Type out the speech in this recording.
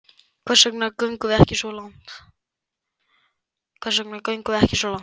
Hvers vegna göngum við ekki svo langt?